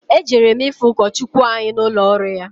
Ejere m ifụ ụkọchụkwụ anyị n'ụlọ ọrụ ya.